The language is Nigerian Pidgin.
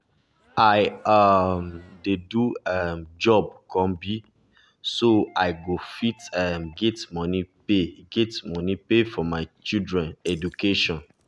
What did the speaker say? i um dey do um job combi so i go fit um get money pay get money pay for my children education